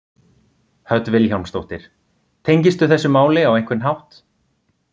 Hödd Vilhjálmsdóttir: Tengistu þessu máli á einhvern hátt?